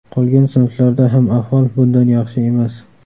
Qolgan sinflarlarda ham ahvol bundan yaxshi emas.